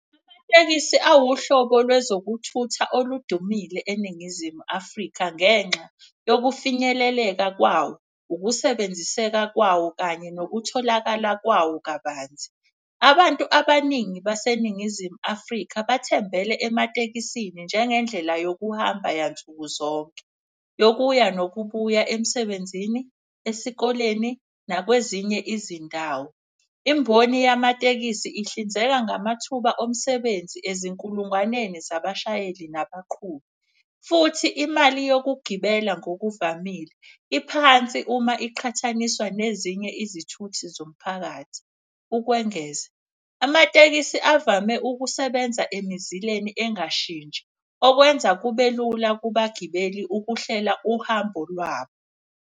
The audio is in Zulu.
Awuhlobo lwezokuthutha oludumile eNingizimu Afrika ngenxa yokufinyeleleka kwawo, ukusebenziseka kwawo kanye nokutholakala kwawo kabanzi. Abantu abaningi baseNingizimu Afrika bathembele ematekisini njengendlela yokuhamba yansukuzonke. Yokuya nokubuya emsebenzini, esikoleni, nakwezinye izindawo. Imboni yamatekisi ihlinzeka ngamathuba omsebenzi ezinkulungwaneni zabashayeli nabaqhubi. Futhi imali yokugibela ngokuvamile iphansi uma iqhathaniswa nezinye izithuthi zomphakathi. Ukwengeza amatekisi avame ukusebenza emizileni engashintshi, okwenza kube lula kubagibeli ukuhlela uhambo lwabo.